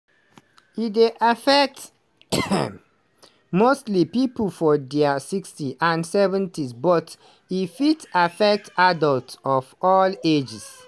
e dey affect mostly pipo for dia 60s and 70s but e fit affect adults of all ages.